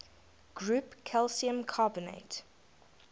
ground calcium carbonate